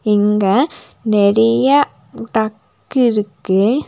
இங்க நெறியா டக் இருக்கு.